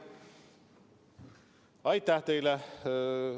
Aitäh teile!